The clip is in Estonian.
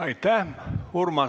Aitäh!